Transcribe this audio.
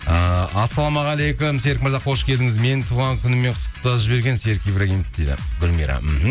ыыы ассалаумағалейкум серік мырза қош келдіңіз менің туған күніммен құттықтап жіберген серік ибрагимов дейді гүлмира мхм